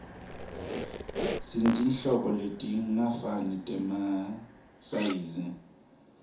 sinetinhlobo letingafani temasayizi